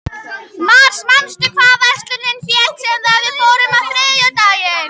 Mars, manstu hvað verslunin hét sem við fórum í á þriðjudaginn?